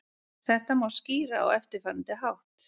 Þetta má skýra á eftirfarandi hátt.